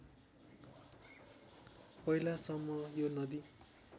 पहिलासम्म यो नदी